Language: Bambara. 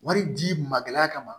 Wari di magɛlɛya kama